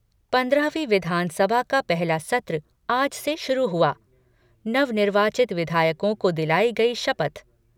पन्द्रहवीं विधानसभा का पहला सत्र आज से शुरू हुआ, नवनिर्वाचित विधायकों को दिलायी गयी शपथ